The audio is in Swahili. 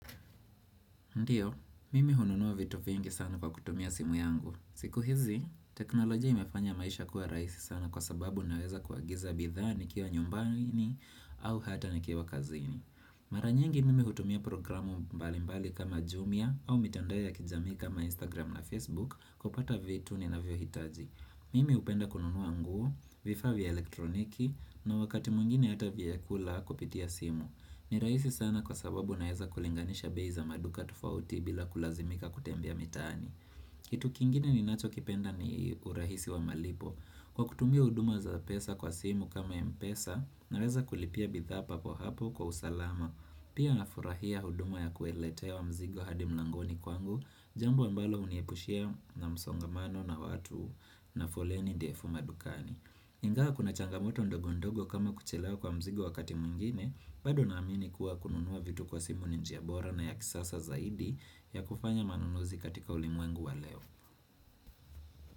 Ndiyo, mimi hununuwa vitu vingi sana kwa kutumia simu yangu. Siku hizi, teknolojia imefanya maisha kuwa raisi sana kwa sababu naweza kuagiza bidhaa nikiwa nyumbani au hata nikiwa kazini. Mara nyingi mimi hutumia programu mbalimbali kama Jumia au mitandao ya kijamii kama Instagram na Facebook kupata vitu ninavyo hitaji. Mimi hupenda kununuwa nguo, vifaa vya elektroniki na wakati mwingine hata vyakula kupitia simu. Ni raisi sana kwa sababu naeza kulinganisha bei za maduka tofauti bila kulazimika kutembea mitaani Kitu kingine ninachokipenda ni urahisi wa malipo Kwa kutumia huduma za pesa kwa simu kama mpesa naweza kulipia bidhaa papo hapo kwa usalama Pia nafurahia huduma ya kueletewa mzigo hadi mlangoni kwangu Jambo ambalo huniepushia na msongamano na watu na foleni ndefu madukani Ingawa kuna changamoto ndogondogo kama kuchelewa kwa mzigo wakati mwingine bado naamini kuwa kununua vitu kwa simu ni njia bora na ya kisasa zaidi ya kufanya manunuzi katika ulimwengu wa leo.